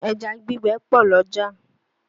Ẹja gbígbẹ pọ̀ l'ọ́jà